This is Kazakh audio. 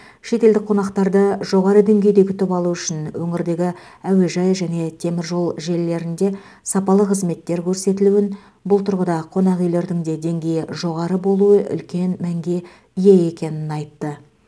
шетелдік қонақтарды жоғары деңгейде күтіп алу үшін өңірдегі әуежай және темір жол желілерінде сапалы қызметтер көрсетілуін бұл тұрғыда қонақ үйлердің де деңгейі жоғары болуы үлкен мәнге ие екенін айтты